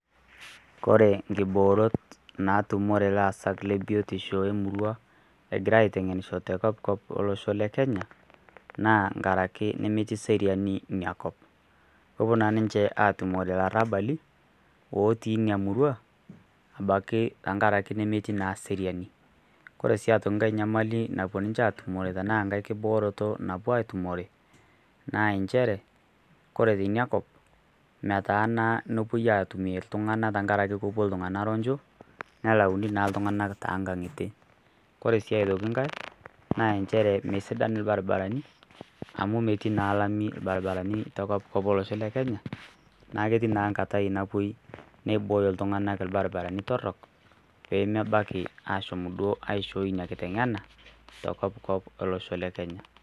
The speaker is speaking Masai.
Kore nkiboorot naatumore laasak le biotisho emurrua egira aitengenisho te kopkop elosho le kenya naa ngaraki nemetii serianiinia kop, kepo naa ninche aatumore larabali otii ina murrua otii abaki tengaraki nemetii seriani, ore sii aitoki nkae nyamali naaapo ninche aatumore anaa nkiboororto naapo aaatumore, naa inchere kore tenia kop metaana nepoi aatumore ltunganak tengaraki kepo ltungana ronjo nelauni naa ltunganak too inkangitie, kore sii aitoki inkae naa inchere mesidan irbaribarabi amu metii naa ilami irbaribarani te kopkop elosho le kenya naaa ketii naa nkatai napoi neibooyo ltunganak irbaribarani torrok peemebaki aashom duo asihooi inia kiteng'ena te kopkop elsoho le Kenya.